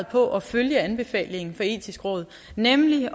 på at følge anbefalingen det etiske råd nemlig